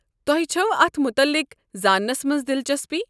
تۄہہ چھوٕ اتھ متعلق زانٛنس منٛز دلچسپی؟